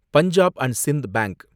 Punjab and Sind bank